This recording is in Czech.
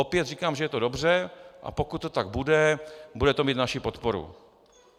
Opět říkám, že je to dobře, a pokud to tak bude, bude to mít naši podporu.